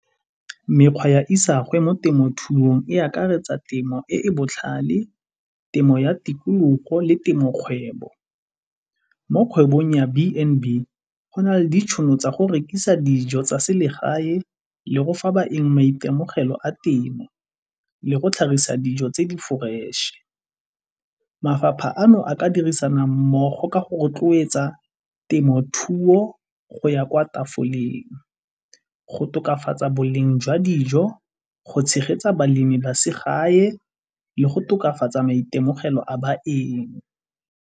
Mekgwa ya isagwe mo temothuong e akaretsa temo e e botlhale, temo ya tikologo le temokgwebo. Mo kgwebong ya B and B go na le ditšhono tsa go rekisa dijo tsa selegae le go fa baeng maitemogelo a temo le go tlhagisa dijo tse di-fresh-e. Mafapha ano a ka dirisana mmogo ka go rotloetsa temothuo go ya kwa tafoleng, go tokafatsa boleng jwa dijo, go tshegetsa balemi ba segae, le go tokafatsa maitemogelo a baeng.